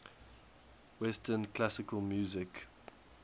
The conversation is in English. western classical music